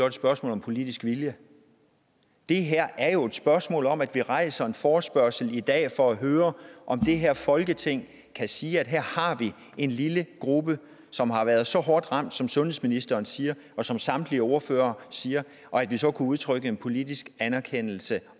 et spørgsmål om politisk vilje det her er jo et spørgsmål om at vi rejser en forespørgsel i dag for at høre om det her folketing kan sige at her har vi en lille gruppe som har været så hårdt ramt som sundhedsministeren siger og som samtlige ordførere siger og at vi så kan udtrykke en politisk anerkendelse